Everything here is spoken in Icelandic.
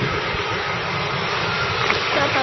Kom nokkuð fyrir? spurði Nína.